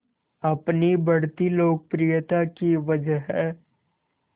अपनी बढ़ती लोकप्रियता की वजह